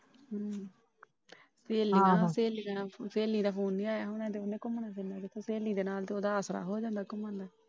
ਪਹਿਲਾ ਸਹੇਲੀ ਦਾ Phone ਨਹੀਂ ਆਇਆ ਹੋਣਾ। ਤਾਂ ਓਹਨੇ ਘੁੰਮਣਾ ਫਿਰਨਾ ਕਿੱਥੇ ਸਹੇਲੀ ਦੇ ਨਾਲ ਤਾਂ ਉਹਦਾ ਆਸਰਾ ਹੋ ਜਾਂਦਾ ਘੁੰਮਣ ਦਾ ।